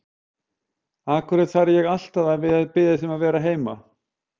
Af hverju þarf ég alltaf að biðja þig um að vera heima?